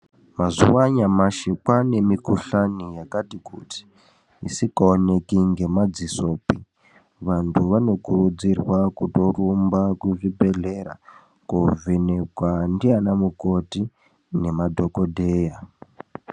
Mazuwaanyamashi kwaane mikuhlani yakati kuti isikaoneki ngemadzisopi vanthu vanokurudzirwa kutorumba kuzvibhedhleya koovhenekwa ndiana mukoti nemadhokodheya .